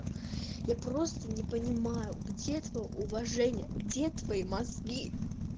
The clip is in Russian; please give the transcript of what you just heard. я просто не понимаю где твоё уважение где твои мозги